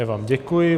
Já vám děkuji.